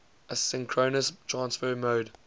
asynchronous transfer mode